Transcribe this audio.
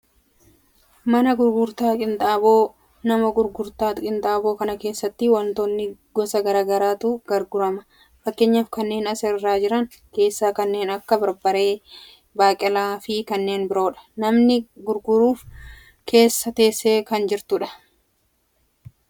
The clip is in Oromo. Mana gurgurtaa qinxaaboo, mana gurgurtaa qinxaaboo kana keessatti wantoota gosa gara garaatu gurgurama. Fakkeenyaaf janneen as irra jiran keessaa kanneen akka barbaree, baaqelaa, fi kanneen biroodha. Namni gurgurud keessa teessee kan jirtudha.